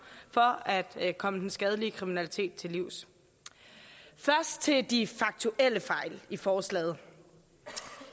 for at komme den skadelige kriminalitet til livs først til de faktuelle fejl i forslaget